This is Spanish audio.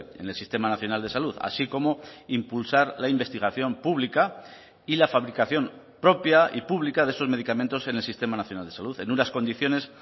en el sistema nacional de salud así como impulsar la investigación pública y la fabricación propia y pública de esos medicamentos en el sistema nacional de salud en unas condiciones